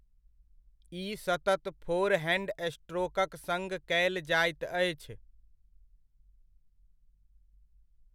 ई सतत फोरहैण्ड स्ट्रोकक सङ्ग कयल जाइत अछि।